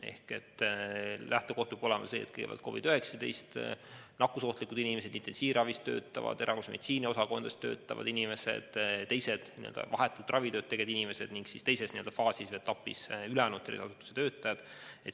Ehk lähtekoht peab olema see, et kõigepealt COVID-19 suhtes nakkusohtlikud inimesed, intensiivravis töötavad inimesed, erakorralise meditsiini osakondades töötavad inimesed ja teised vahetult ravitööd tegevad inimesed ning alles teises etapis ülejäänud tervishoiuasutuste töötajad.